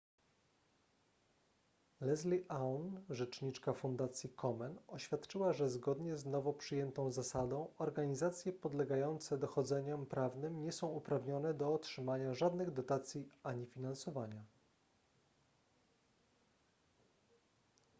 leslie aun rzecznika fundacji komen oświadczyła że zgodnie z nowo przyjętą zasadą organizacje podlegające dochodzeniom prawnym nie są uprawnione do otrzymania żadnych dotacji ani finansowania